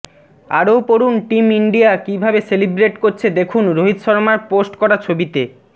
আরও পড়ুন team India কীভাবে সেলিব্রেট করছে দেখুন রোহিত শর্মার পোস্ট করা ছবিতে